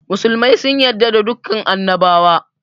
Musulmai sun yarda da dukan annabawa